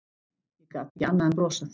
Ég gat ekki annað en brosað.